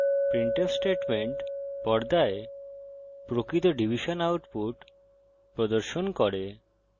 printf statement পর্দায় প্রকৃত division output প্রদর্শন করে